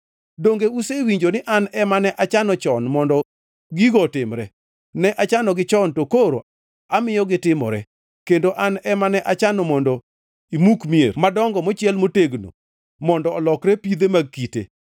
“Donge usewinjo ni an ema ne achano chon mondo gigo otimre? Ne achanogi chon to koro amiyo gitimore, kendo an ema ne achano mondo imuk mier madongo mochiel motegno mondo olokre pidhe mag kite.